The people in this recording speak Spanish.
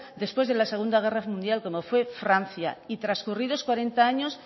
después de la segundo guerra mundial como fue francia y transcurridos cuarenta años